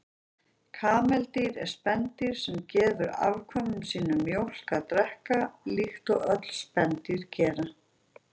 Kameldýr eru spendýr sem gefur afkvæmum sínum mjólk að drekka, líkt og öll spendýr gera.